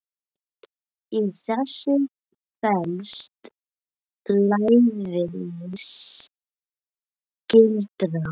Í þessu felst lævís gildra.